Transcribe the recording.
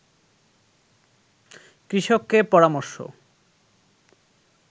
কৃষককে পরামর্শ